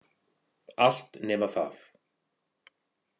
Allt nema það.